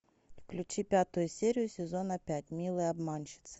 включи пятую серию сезона пять милые обманщицы